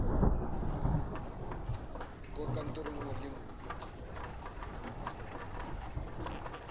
kwa kantorong nngwe le nngwe